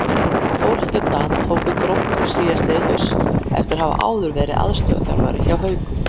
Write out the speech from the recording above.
Þórhallur Dan tók við Gróttu síðastliðið haust eftir að hafa áður verið aðstoðarþjálfari hjá Haukum.